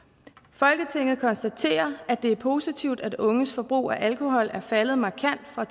folketinget konstaterer at det er positivt at unges forbrug af alkohol er faldet markant fra